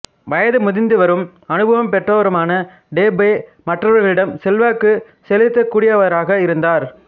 வயது முதிர்ந்தவரும் அனுபவம் பெற்றவருமான டோபே மற்றவர்களிடம் செல்வாக்குச் செலுத்தக்கூடியவராக இருந்தார்